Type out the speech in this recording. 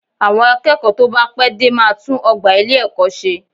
Àwọn akẹ́kọ̀ọ́ tó bá pẹ́ dé máa tún ọgbà ilé-ẹ̀kọ́ ṣe